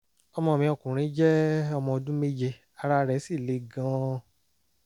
ọmọ mi ọkùnrin jẹ́ ọmọ ọdún méje ara rẹ̀ sì le gan-an